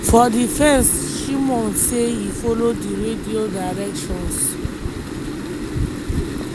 for di fence shimon say e follow di radio dierctions.